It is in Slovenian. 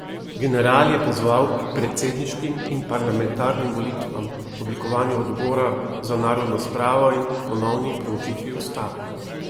General je pozval k predsedniškim in parlamentarnim volitvam, oblikovanju odbora za narodno spravo in ponovni preučitvi ustave.